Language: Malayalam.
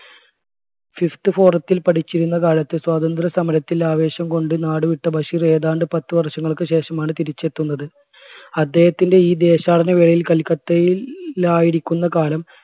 fifth forum ത്തിൽ പഠിച്ചിരുന്ന കാലത്ത് സ്വാതന്ത്ര്യസമരത്തിൽ ആവേശം കൊണ്ട് നാടുവിട്ട ബഷീർ ഏതാണ്ട് പത്ത് വർഷങ്ങൾക്ക് ശേഷമാണ് തിരിച്ചെത്തുന്നത്. അദ്ദേഹത്തിന്റെ ഈ ദേശാടന വേളയിൽ കൽക്കത്തയി~ലായിരിക്കുന്ന കാലം